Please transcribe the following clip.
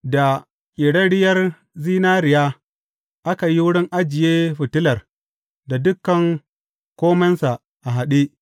Da ƙerarriyar zinariya aka yi wurin ajiye fitilar da dukan komensa a haɗe.